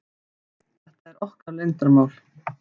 Þetta er okkar leyndarmál.